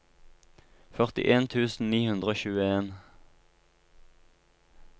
førtien tusen ni hundre og tjueen